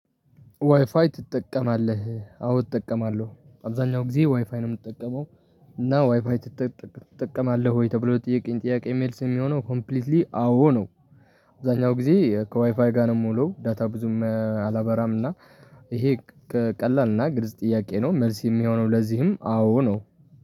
ዋይፋይ ትጠቀማለህ አዎ እጠቀማለሁ አብዛኛው ጊዜ ዋይፋይ ነው የምጠቀመው። እና ዋይፋይ ትጠቀማለህ ወይ ተብሎ ለጠየከኝ ጥያቄ መልስ የሚሆነው ኮምፕሊትሊ አዎ ነው። አብዛኛው ጊዜ ከዋይፋይ ጋር ነው የምዉሉ ዳታ ብዙም አላበራም እና። ይሄ ቀላል እና ግልጽ ጥያቄ ነው መልስ የሚሆነው ለዚህም አዎ ነው